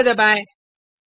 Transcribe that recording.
enter दबाएँ